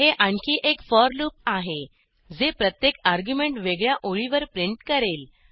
हे आणखी एक फोर लूप आहे जे प्रत्येक अर्ग्युमेंट वेगळ्या ओळीवर प्रिंट करेल